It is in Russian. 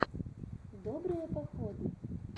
добрые походы